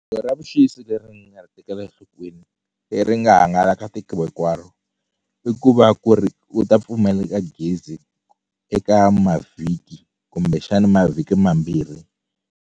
ra vuxisi leri ni nga ri tekela enhlokweni leri nga hangalaka tiko hinkwaro i ku va ku ri u ta pfumaleka gezi eka mavhiki kumbexani mavhiki mambirhi.